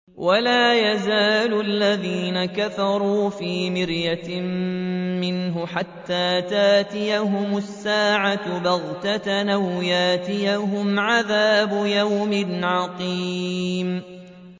وَلَا يَزَالُ الَّذِينَ كَفَرُوا فِي مِرْيَةٍ مِّنْهُ حَتَّىٰ تَأْتِيَهُمُ السَّاعَةُ بَغْتَةً أَوْ يَأْتِيَهُمْ عَذَابُ يَوْمٍ عَقِيمٍ